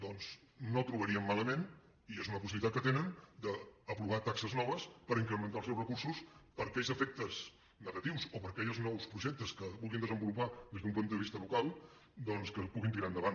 doncs no trobaríem malament i és una possibilitat que tenen aprovar taxes noves per incrementar els seus recursos per a aquells efectes negatius o per a aquells nous projectes que vulguin desenvolupar des d’un punt de vista local que els puguin tirar endavant